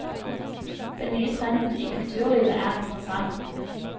Den nye trenden i kulturlivet er interessant.